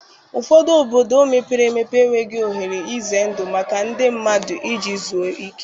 Ụfọdụ obodo mepere emepe enweghị ohere ize ndụ maka ndị mmadụ iji zuọ ike.